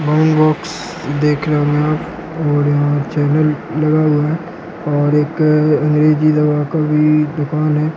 Brand box देखना और यहाँ चैनल लगा हुआ है और एक अंग्रेजी दावा का भी दुकान है।